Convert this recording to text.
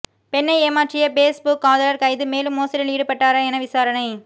பெண்ணை ஏமாற்றிய Facebook காதலர் கைது மேலும் மோசடியில் ஈடுபட்டாரா என விசாரணை